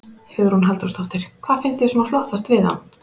Hugrún Halldórsdóttir: Hvað finnst þér svona flottast við hann?